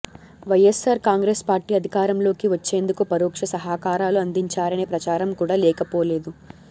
YSR Congress party అధికారంలోకి వచ్చేందుకు పరోక్ష సహకారాలు అందించారనే ప్రచారం కూడా లేకపోలేదు